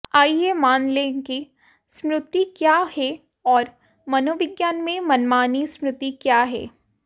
आइए मान लें कि स्मृति क्या है और मनोविज्ञान में मनमानी स्मृति क्या है